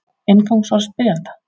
Inngangsorð spyrjanda: